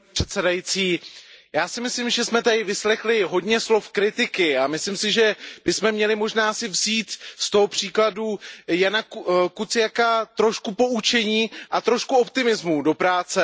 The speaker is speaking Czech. Paní předsedající, já si myslím, že jsme tady vyslechli hodně slov kritiky a myslím si, že bychom si měli možná vzít z toho případu Jána Kuciaka trochu poučení a trochu optimismu do práce.